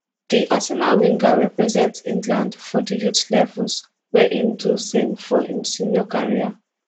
di arsenal winger represent england for di youth levels wia im do same for im senior career